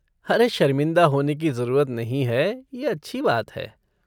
अरे शर्मिंदा होने की जरूरत नहीं है, ये अच्छी बात है।